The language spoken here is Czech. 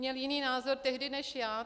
Měl jiný názor tehdy než já.